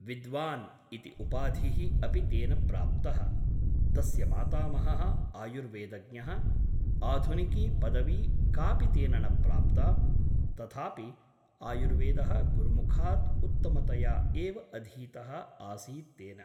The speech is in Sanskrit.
विद्वान् ' इति उपाधिः अपि तेन प्राप्तः । तस्य मातामहः आयुर्वेदज्ञः । आधुनिकी पदवी कापि तेन न प्राप्ता , तथापि आयुर्वेदः गुरुमुखात् उत्तमतया एव अधीतः आसीत् तेन ।